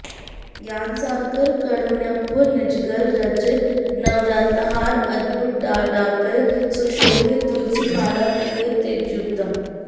ज्ञानसागरं कारुण्यपूरं निजगल राजित नवरत्नहारं अद्भुतालङ्कार सुशोभितं तुलसी माला प्रिय तेजोयुतम्